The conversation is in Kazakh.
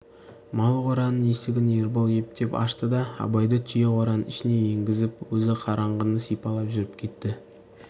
мал қораның есігін ербол ептеп ашты да абайды түйе қораның ішіне енгізіп өзі қараңғыны сипалап жүріп кетті